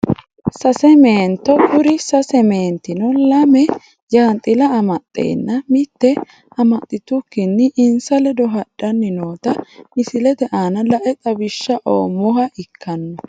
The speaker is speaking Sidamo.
Sase meento kuri sase meentino lamme jaanxila amaxenna mitte amaxitukini insa ledo hadhani noota misilete aana lae xawishsha oomoha ikano.